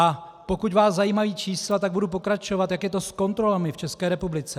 A pokud vás zajímají čísla, tak budu pokračovat, jak je to s kontrolami v České republice.